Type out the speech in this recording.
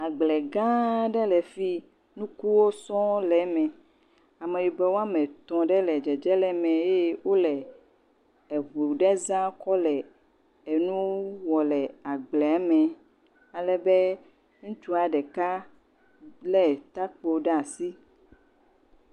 Agble gã aɖe le fii, nukuwo sɔŋ le me. Ameyibɔ woame etɔ̃ ɖe le dzedze le me eye wole eŋu ɖe za kɔ le enu wɔ le agblea me alebe ŋutsua ɖeka lé tɔkpo ɖe asi.